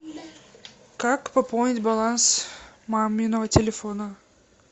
как пополнить баланс маминого телефона